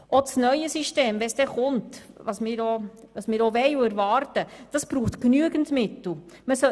Auch das neue System, wenn es dann kommt – was auch wir wollen und auch erwarten –, muss genügend Mittel aufweisen.